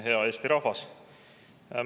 Hea Eesti rahvas!